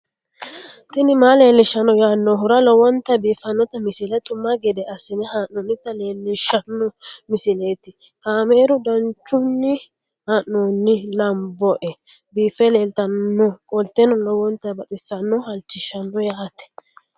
tini maa leelishshanno yaannohura lowonta biiffanota misile xuma gede assine haa'noonnita leellishshanno misileeti kaameru danchunni haa'noonni lamboe biiffe leeeltannoqolten lowonta baxissannoe halchishshanno yaate